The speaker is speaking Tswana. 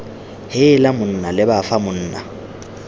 heela monna leba fa monna